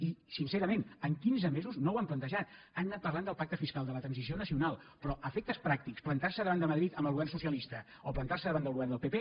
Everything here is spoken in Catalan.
i sincerament en quinze mesos no ho han plantejat han anat parlant del pacte fiscal de la transició nacional però a efectes pràctics plantar se davant de madrid amb el govern socialista o plantar se davant del govern del pp